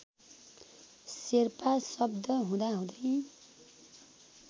शेर्पा शब्द हुँदाहुँदै